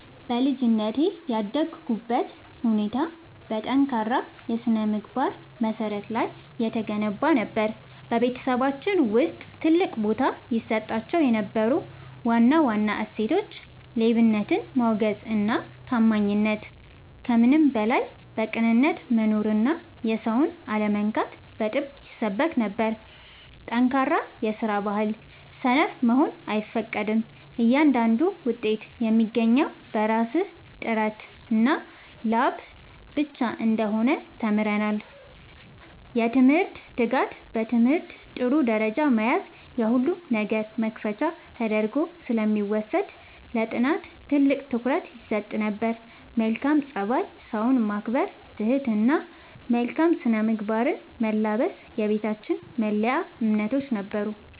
በልጅነቴ ያደግኩበት ሁኔታ በጠንካራ የሥነ-ምግባር መሠረት ላይ የተገነባ ነበር። በቤተሰባችን ውስጥ ትልቅ ቦታ ይሰጣቸው የነበሩ ዋና ዋና እሴቶች፦ ሌብነትን ማውገዝና ታማኝነት፦ ከምንም በላይ በቅንነት መኖርና የሰውን አለመንካት በጥብቅ ይሰበክ ነበር። ጠንካራ የስራ ባህል፦ ሰነፍ መሆን አይፈቀድም፤ እያንዳንዱ ውጤት የሚገኘው በራስ ጥረትና ላብ ብቻ እንደሆነ ተምረናል። የትምህርት ትጋት፦ በትምህርት ጥሩ ደረጃ መያዝ የሁሉም ነገር መክፈቻ ተደርጎ ስለሚወሰድ ለጥናት ትልቅ ትኩረት ይሰጥ ነበር። መልካም ፀባይ፦ ሰውን ማክበር፣ ትህትና እና መልካም ስነ-ምግባርን መላበስ የቤታችን መለያ እምነቶች ነበሩ።